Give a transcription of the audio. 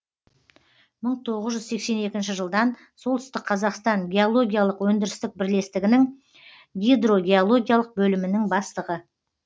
бір мың тоғыз жүз сексен екінші жылдан солтүстік қазақстан геологиялық өндірістік бірлестігінің гидрогеологиялық бөлімінің бастығы